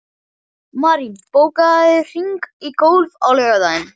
Marín, bókaðu hring í golf á laugardaginn.